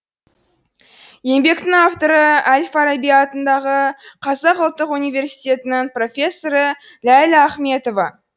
еңбектің авторы әл фараби атындағы қазақ ұлттық университетінің профессоры ләйлә ахметова